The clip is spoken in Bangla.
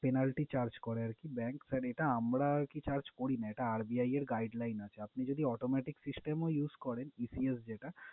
Penalty charge করে আরকি bank । sir এটা আমরা কি charge করি না, এটা RBI এর guideline আছে। আপনি যদি automatic system ও use করেন ECS যেটা